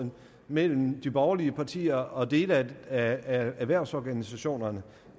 mellem de borgerlige partier og dele af erhvervsorganisationerne